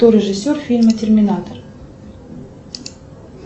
кто режиссер фильма терминатор